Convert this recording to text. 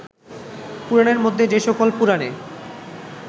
পুরাণের মধ্যে যে সকল পুরাণে